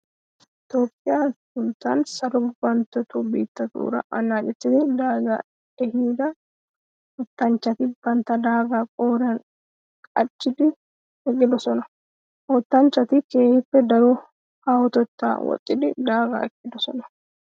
Toophphiya sunttan salo gufantto biittatura anaccettiddi daaga ehidda wottanchchatti bantta daaga qooriyan qachchiddi eqqidosonna. Ha wottanchchati keehippe daro haahotettaa woxiddi daaga ekkidosonna.